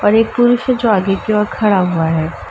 और एक पुरुष है जो आगे की ओर खड़ा हुआ है।